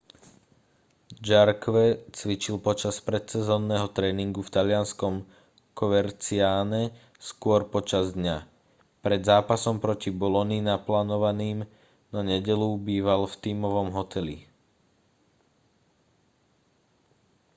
jarque cvičil počas predsezónneho tréningu v talianskom coverciane skôr počas dňa pred zápasom proti boloni naplánovaným na nedeľu býval v tímovom hoteli